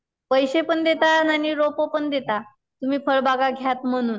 पैसे पण देता आणि रोप पण देता तुम्ही फळ बागा घ्यात म्हणून.